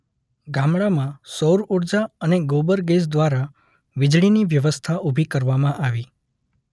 ગામડામાં સૌર ઊર્જા અને ગોબર ગેસ દ્વારા વીજળીની વ્યવસ્થા ઊભી કરવામાં આવી.